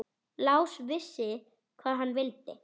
Lási vissi hvað hann vildi.